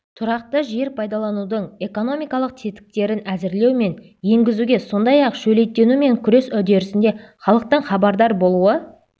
тұрақты жер пайдаланудың экономикалық тетіктерін әзірлеу мен енгізуге сондай-ақ шөлейттенумен күрес үдерісінде халықтың хабардар болуы